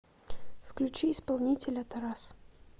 включи исполнителя тарас